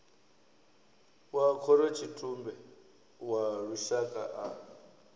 wa khorotshitumbe wa lushaka a